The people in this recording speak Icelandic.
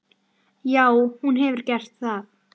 Barn þeirra Thea.